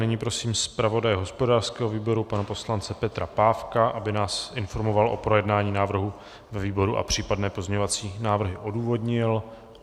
Nyní prosím zpravodaje hospodářského výboru pana poslance Petra Pávka, aby nás informoval o projednání návrhu ve výboru a případné pozměňovací návrhy odůvodnil.